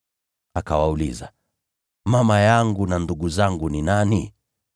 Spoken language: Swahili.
Akawauliza, “Mama yangu na ndugu zangu ni nani?”